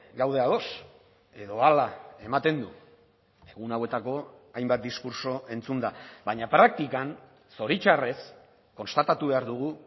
gaude ados edo hala ematen du egun hauetako hainbat diskurtso entzunda baina praktikan zoritxarrez konstatatu behar dugu